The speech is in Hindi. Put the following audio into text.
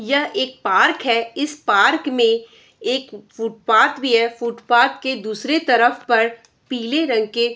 यह एक पार्क है इस पार्क में एक फुटपाथ भी है फुटपाथ के दूसरे तरफ पर पीले रंग के --